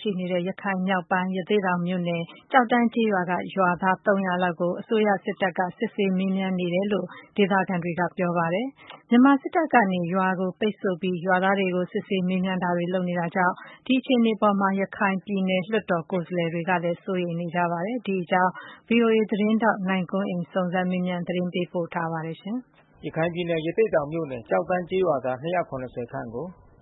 ရှိနေတဲ့ ရခိုင်မြောက်ပိုင်း ရသေ့တောင်မြို့နယ် ကျေက်တန်းကျေးရွာက ရွာသား ၃၀၀ လောက်ကို မြန်မာစစ်တပ်က စစ်ဆေးမေးမြန်းမှုတွေ ပြုလုပ်နေတယ်လို့ ဒေသခံတွေက ပြောပါတယ်။ မြန်မာစစ်တပ်ကနေရွာကို ပိတ်ဆို့ပြီး ရွာသားတွေကို စစ်ဆေးမေးမြန်းတာတွေ လုပ်နေတာကြောင့် အခြေအနေအပေါ်မှာ ရခိုင်ပြည်နယ် လွှတ်တော်ကိုယ်စားလှယ်တွေကလည်း စိုးရိမ်နေပါတယ်။ ဗွီအိုအေ သတင်းထောက် နိုင်ကွန်းအိမ်က စုံစမ်းမေးမြန်းသတင်းပေး ပို့ထားပါတယ်။ ရခိုင်ပြည်နယ် ရသေ့တောင်မြို့နယ် ကျောက်တန်းကျေးရွာသား ခန့်ကို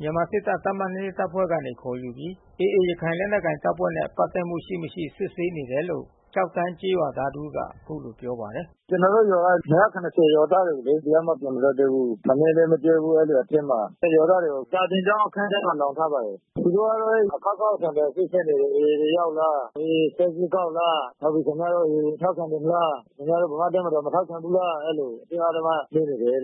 မြန်မာစစ်တပ် တပ်မ တပ်ဖွဲ့ကနေ ခေါ်ယူပြီး AA ရခိုင်လက်နက်ကိုင် အဖွဲ့နဲ့ ပက်သက်မှုရှိမရှိ စစ်ဆေးနေတယ်လို့ ကျောက်တန်းကျေးရွာသား တဦးကအခုလိုပြော ပါတယ်။ “ကျနော်တို့ ရွာက ရွာသားတွေကိုလေ။ တယောက်မှ ပြန်မလွှတ်သေးဘူး။ ထမင်းလည်း မကျွေးဘူး။ အဲဒီအတွင်းမှာ။ ရွာသားတွေကို စာသင်ကျောင်း အခန်းထဲ လှောင်ထားပါတယ်။ သူတို့ကတော့ အခေါက်ခေါက်အခါခါ စစ်ဆေးနေတယ်။ AA တွေ ရောက်လား။ AA ဆက်ကြေးကောက်လား။ နောက်ပြီး ခင်ဗျားတို့ AA ထောက်ခံနေလား။ ခင်ဗျားတို့ ဗမာ့တပ်မတော်ကို မထောက်ခံဘူးလား။ အဲဒီလို အတင်းအဓမ္မ မေးနေတယ်။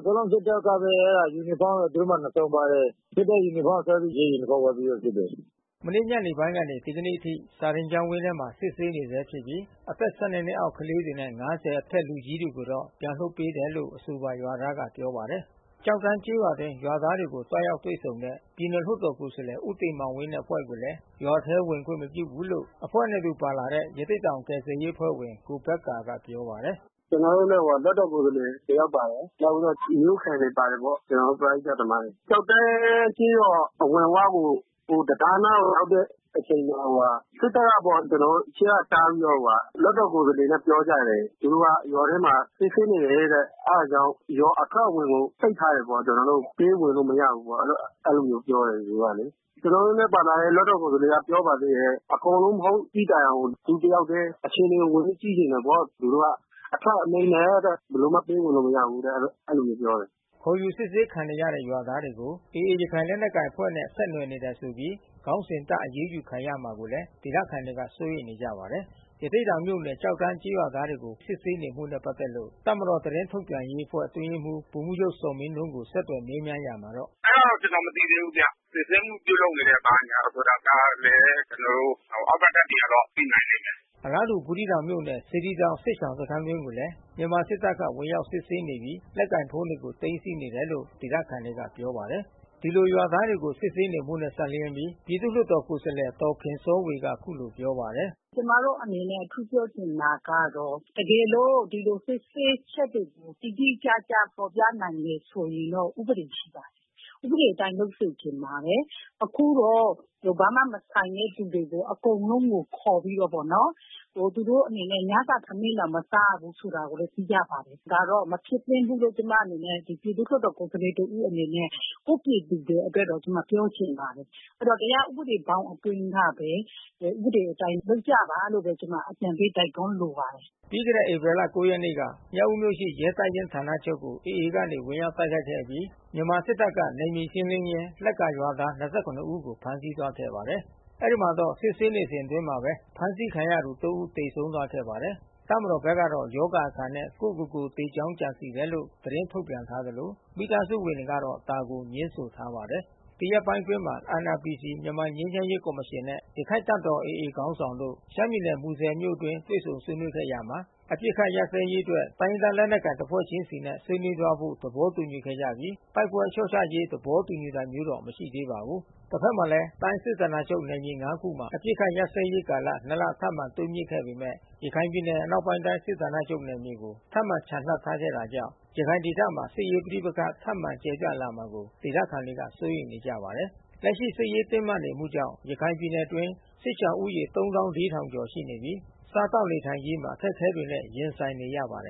အကုန်လုံးစစ်တပ်ကပဲ။ ယူနီဖေါင်းသူတို့မှာ ၂ စုံပါတယ်။ စစ်တပ်ယူနီဖေါင်းဆွဲပြီး ရဲယူနီဖေါင်းနဲ့စစ်တယ်။” မနေ့ညနေပိုင်းကနေ ဒီကနေ့အထိ စာသင်ကျောင်းဝင်းထဲမှာ စစ်ဆေးနေဆဲဖြစ်ပြီး အသက် အောက် ကလေးတွေနဲ့ အထက်လူကြီးတွေကိုတော့ ပြန်လွှတ်ပေးတယ်လို့ အဆိုပါရွာသားက ပြောပါတယ်။ ကျောက်တန်းကျေးရွာအတွင်း ရွာသားတွေကို သွားရောက်တွေ့ဆုံတဲ့ ပြည်နယ်လွှတ်တော် ကိုယ်စားလှယ် ဦးတင်မောင်ဝင်းနဲ့ အဖွဲ့ကိုလည်း ရွာထဲ ဝင်ခွင့်မပြုဘူးလို့ အဖွဲ့နဲ့အတူပါလာတဲ့ ရသေ့တောင် ကယ်ဆယ်ရေးအဖွဲ့ဝင် ကိုဘက္ကာက ပြောပါတယ်။ “ကျတော်တို့နဲ့ လွှတ်တော်ကိုယ်စားလှယ် တယောက်ပါတယ်။ နောက်ပြီးတော့ မြို့ခံတွေပါတယ်ပေါ့။ ကျတော်တို့ ပရဟိတသမားတွေ။ ကျောက်တန်းကျေးရွာ အဝင်ဝကို တံတားနားကို ရောက်တဲ့အချိန်မှာ စစ်တပ်ကပေါ့။ ကျတော်တို့ အရှေ့ကတားပြီးတော့ လွှတ်တော်ကိုယ်စားလှယ်နဲ့ ပြောကြတယ်။ သူတို့ကရွာထဲမှာ စစ်ဆေးနေတယ်တဲ့။ အဲတာကြောင့် ရွာအထွက်အဝင်ကို ပိတ်ထားတယ်ပေါ့။ ကျနော်တို့ ပေးဝင်လို့ မရဘူးပေါ့။ အဲဒီလိုမျိုးပြောတယ် သူတို့ကလေ။ ကျနော်တို့နဲ့ ပါလာတဲ့ လွှတ်တော်ကိုယ်စားလှယ်က ပြောပါသေးတယ်။ အကုန်လုံး မဟုတ်သည့်တိုင်အောင် သူတယောက်ထဲ အခြေအနေဝင်ပြီးတော့ ကြည့်ချင်တယ်ပေါ့။ သူတို့က အထက်အမိန့်နဲ့တဲ့ ဘယ်လိုမှ ပေးဝင်လို့မရဘူးတဲ့ အဲဒီလိုမျိုးပြောတယ်။” ခေါ်ယူစစ်ဆေးခံနေရတဲ့ ရွာသားတွေကို AA ရခိုင်လက်နက်ကိုင်အဖွဲ့နဲ့ ဆက်နွယ်နေတယ်ဆိုပြီး ခေါင်းစဉ်တပ်အရေးယူခံရမှာကိုလည်း ဒေသခံတွေ စိုးရိမ်နေကြရပါတယ်။ ရသေ့တောင်မြို့နယ် ကျောက်တန်းကျေးရွာသားတွေကို ဖမ်းဆီးစစ်ဆေးနေမှုနဲ့ ပက်သက်လို့ တပ်မတော်သတင်းထုတ် ပြန်ရေးအဖွဲ့ အတွင်းရေးမှူးဗိုလ်မှူးချုပ်ဇော်မင်းထွန်း ဆက်သွယ်မေးမြန်းရာမှာတော့ “အဲတာတော့ ကျနော် မသိသေးဘူးဗျ။ စီစစ်မှုပြုလုပ်နေတာဆိုတာကလည်း ကျနော်တို့အောက်က တပ်တွေကတော့ သိနိုင်လိမ့်မယ်။” အလားတူ ဘူးသီးတောင်မြို့နယ် စေတီတောင် စစ်ရှောင်စခန်းအတွင်းကိုလည်း မြန်မာစစ်တပ်က ဝင်ရောက်စစ်ဆေး နေပြီး လက်ကိုင်ဖုန်းတွေ သိမ်းဆည်းနေတယ်လို့ ဒေသခံတွေကပြောပါတယ်။ ဒီလိုရွာသားတွေကို စစ်ဆေးနေမှုနဲ့စပ်လျှင်းပြီး ပြည်သူ့လွှတ်တော်ကိုယ်စားလှယ် ဒေါ်ခင်စောဝေက အခုလိုပြော ပါတယ်။ “ကျမတို့အနေနဲ့ တခုပြောချင်တာကတော့ တကယ်လို့ ဒီလိုစစ်ဆေးချက်တွေကို တိတိကျကျ ဖေါ်ပြနိုင်တယ်ဆိုရင်တော့ ဥပဒေရှိပါတယ်။ ဥပဒေအတိုင်း လုပ်စေချင်ပါတယ်။ အခုတော့ဘာမှမဆိုင်တဲ့ လူတွေကို အကုန်လုံးကို ခေါ်ပြီးတော့ပေါ့နော်။ သူတို့အနေနဲ့ ညစာထမင်းတောင် မစားရဘူး ဆိုတာကိုလည်း သိရပါတယ်။ ဒါတော့မဖြစ်သင့်ဘူးလို့ ကျမအနေနဲ့ ပြည်သူ့လွှတ်တော်တဦးအနေနဲ့ ကိုယ့်ပြည်သူတွေအတွက်တော့ ကျမပြောချင်ပါတယ်။ တရားဥပဒေဘောင်အတွင်းကပဲ ဥပဒေအတိုင်းလုပ်ကြပါလို့ပဲ ကျမအကြံပေးတိုက်တွန်းလိုပါတယ်။” ပြီးခဲ့တဲ့ ဧပြီလ ၉ ရက်နေ့ညက မြောက်ဦးမြို့ရှိ ရဲတပ်ရင်းဌာနချုပ်ကို AA ကနေ ဝင်ရောက်တိုက်ခိုက်ခဲ့အပြီး မြန်မာစစ်တပ်က နယ်မြေရှင်းလင်းရင်း လက်ကာရွာသား ဦးကိုဖမ်းဆီးခဲ့ပါတယ်။ အဲဒီမှာတော့ စစ်ဆေးနေစဉ်အတွင်းမှာပဲ အဖမ်းခံရသူ ဦး သေဆုံးသွားခဲ့ပါတယ်။ တပ်မတော်ဘက်ကတော့ ရောဂါအခံနဲ့ ကိုယ့် ကိုယ်ကိုသေကြောင်း ကြံစည်တယ်လို့ သတင်းထုတ်ပြန်ထားသလို မိသားစုဝင်တွေကတော့ ဒါကိုငြင်းဆိုထားပါတယ်။ ဒီရက်ပိုင်းမှာ NRPC မြန်မာငြိမ်းချမ်းရေးကော်မရှင်နဲ့ ရခိုင့်တပ်တော် AA ခေါင်းဆောင်တို့ ရှမ်းပြည်နယ် မူဆယ်မြို့အတွင်း တွေ့ဆုံဆွေးနွေးခဲ့ရာမှာ အပစ်အခတ်ရပ်စဲရေးအတွက် တိုင်းရင်းသားလက်နက်ကိုင်တဖွဲ့ချင်းစီနဲ့ ဆွေးနွေးသွားဖို့ သဘောတူခဲ့ကြပြီး တိုက်ပွဲလျော့ချရေး သဘောတူတာမျိုး မရှိသေးပါဘူး။ တဖက်မှာလည်း တိုင်းစစ်ဌာနချုပ်နယ်မြေ ခုမှာ အပစ်အခတ် ရပ်စဲရေးကာလ လ ထပ်မံတိုးမြင့်ခဲ့ပေမဲ့ ရခိုင်ပြည်နယ် အနောက်ပိုင်း စစ်ဌာနချုပ်နယ်မြေကို ထပ်မံချန်လှပ်ထားခဲ့တာကြောင့် ရခိုင်ဒေသမှာ စစ်ရေးပဋိပက္ခထပ်မံ ကျယ်ပြန့်လာမှာကို ဒေသခံတွေစိုးရိမ်နေကြပါတယ်။ လက်ရှိစစ်ရေးတင်းမာနေမှုကြောင့် ရခိုင်ပြည်နယ်အတွင်း စစ်ရှောင်ဦးရေ ကျော်ရှိနေပြီး စားသောက်နေထိုင်ရေး မှာအခက်ခဲတွေနဲ့ ရင်ဆိုင်နေရပါတယ်